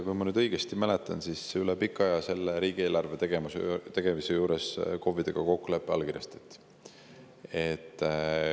Kui ma õigesti mäletan, siis selle riigieelarve tegemise juures kokkulepe KOV‑idega üle pika aja allkirjastati.